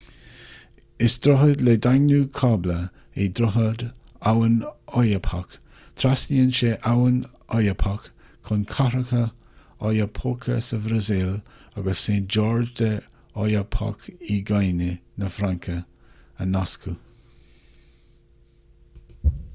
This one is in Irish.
is droichead le daingniú cábla é droichead abhainn oyapock trasnaíonn sé abhainn oyapock chun cathracha oiapoque sa bhrasaíl agus saint-georges de l'oyapock i nguine na fraince a nascadh